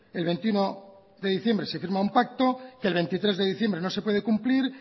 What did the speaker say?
el veintiuno de diciembre se firma un pacto que el veintitrés de diciembre no se puede cumplir